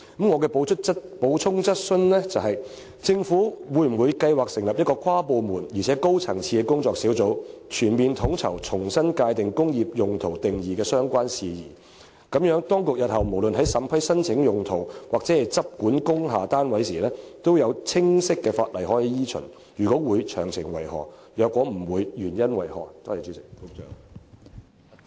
我的補充質詢是，政府會否計劃成立一個跨部門及高層次的工作小組，全面統籌重新界定"工業用途"一詞定義的相關事宜，令當局日後不論在審批申請用途或執管工廈單位時，也有清晰法例可以依循；若會，詳情為何；若否，原因為何？